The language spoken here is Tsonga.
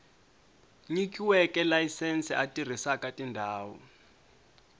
nyikiweke layisense a tirhisaka tindhawu